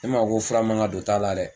Ne m'a fɔ ko fura man kan ka don ta la dɛ.